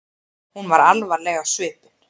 Hún var alvarleg á svipinn.